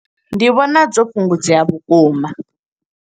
Ndi vhona dzo fhungudzea vhukuma.